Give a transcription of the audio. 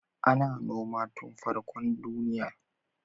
Ana noma tun farkon duniya.